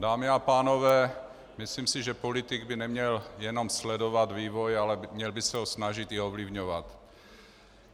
Dámy a pánové, myslím si, že politik by neměl jenom sledovat vývoj, ale měl by se ho snažit i ovlivňovat.